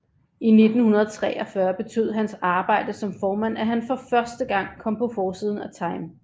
I 1943 betød hans arbejde som formand at han for første gang kom på forsiden af Time